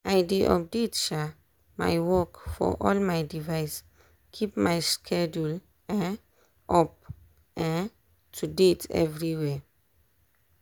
i dey update um my work for all my device keep my schedule um up um to date everywhere.